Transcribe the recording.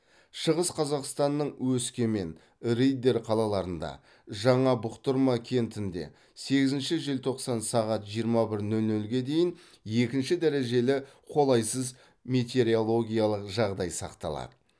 шығыс қазақстанның өскемен риддер қалаларында жаңа бұқтырма кентінде сегізінші желтоқсан сағат жиырма бір нөл нөлге дейін екінші дәрежелі қолайсыз метеорологиялық жағдай сақталады